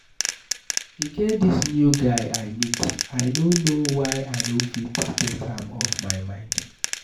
E get dis new guy I meet, I no know why I no fit get am off my mind.